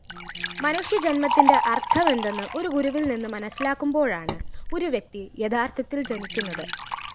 മനുഷ്യജന്മകത്തിന്റെ അര്‍ത്ഥമെന്തെന്ന് ഒരു ഗുരുവില്‍നിന്ന് മനസ്സിലാക്കുമ്പോഴാണ് ഒരു വ്യക്തിയഥാര്‍ത്ഥത്തില്‍ ജനിക്കുന്നത്